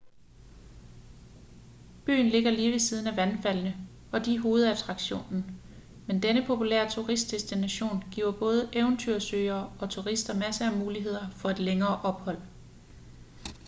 byen ligger lige ved siden af vandfaldene og de er hovedattraktionen men denne populære turistdestination giver både eventyrsøgere og turister masser af muligheder for et længere ophold